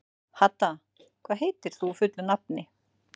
Hadda, hvað heitir þú fullu nafni?